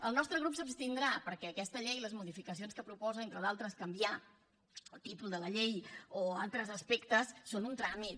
el nostre grup s’hi abstindrà perquè aquesta llei les modificacions que proposa entre d’altres canviar el títol de la llei o altres aspectes són un tràmit